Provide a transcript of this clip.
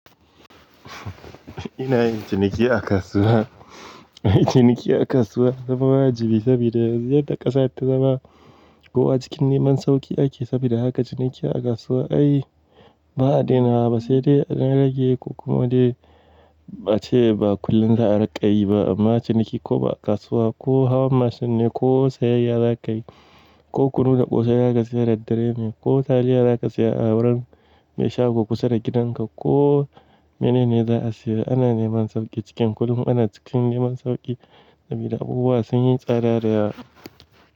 Ina yin ciniki a kasuwa. Yin ciniki a kasuwa ya zama wajibi saboda yanzu yadda ƙasar take, kowa cikin neman sauƙi ake. Saboda haka ciniki a kasuwa ai ba a dainawa, sai dai a ɗan rage ko kuma dai ace ba kullum za a riƙa yi ba. Amma ciniki ko ba a kasuwa ba ko hawan mashin ne ko sayayya za ka yi ko kunu da ƙosai za ka saya da dare ne ko taliya za ka saya a wurin mai shago kusa da gidanka ko mene ne za a sayar, ana neman sauƙi cikin kuɗin. Ana cikin neman sauƙi saboda abubuwa sun yi tsada da.